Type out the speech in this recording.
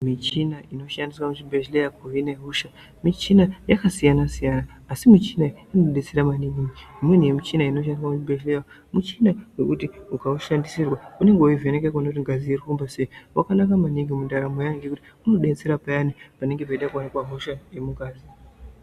Michina inoshandiswa muzvibhedhleya kuhina hosha mishina yakasiyana-siyana. Asi michina iyi inobetsera maningi, imweni yemichina inoshandiswa muzvibhedhlera michina yekuti ukaishandisirwa unenge veivheneka kuti ngazi iri kufamba sei. Vakanaka maningi mundaramo yevantu ngekuti unobetsera payani panenge peida kuonekwa hosha yemungazi.